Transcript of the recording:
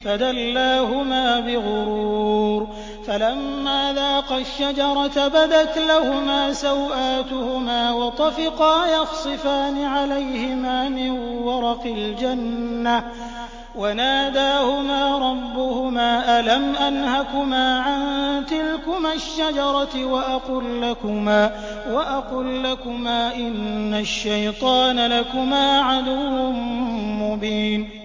فَدَلَّاهُمَا بِغُرُورٍ ۚ فَلَمَّا ذَاقَا الشَّجَرَةَ بَدَتْ لَهُمَا سَوْآتُهُمَا وَطَفِقَا يَخْصِفَانِ عَلَيْهِمَا مِن وَرَقِ الْجَنَّةِ ۖ وَنَادَاهُمَا رَبُّهُمَا أَلَمْ أَنْهَكُمَا عَن تِلْكُمَا الشَّجَرَةِ وَأَقُل لَّكُمَا إِنَّ الشَّيْطَانَ لَكُمَا عَدُوٌّ مُّبِينٌ